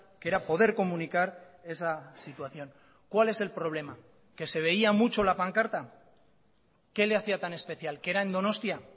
que era poder comunicar esa situación cuál es el problema que se veía mucho la pancarta qué le hacía tan especial que era en donostia